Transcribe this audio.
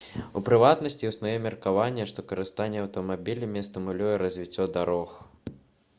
у прыватнасці існуе меркаванне што карыстанне аўтамабілямі стымулюе развіццё дарог